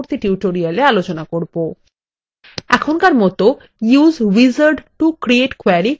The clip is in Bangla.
এখনকার মত use wizard to create query click করুন